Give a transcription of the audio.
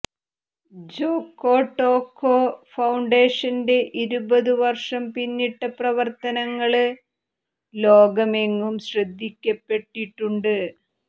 Jocotoco ഫൌണ്ടേഷന്റെ ഇരുപതു വര്ഷം പിന്നിട്ട പ്രവര്ത്തനങ്ങള് ലോകമെങ്ങും ശ്രദ്ധിക്കപ്പെട്ടിട്ടുണ്ട്